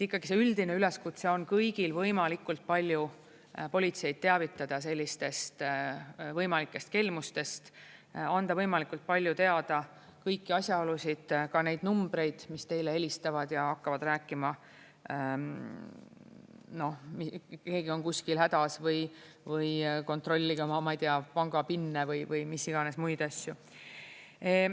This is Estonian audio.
Ikkagi see üldine üleskutse on kõigile võimalikult palju politseid teavitada sellistest võimalikest kelmustest, anda võimalikult palju teada kõiki asjaolusid, ka neid numbreid, mis teile helistavad ja hakkavad rääkima, et keegi on kuskil hädas või kontrollige oma, ma ei tea, panga-PIN-e või mis iganes muid asju.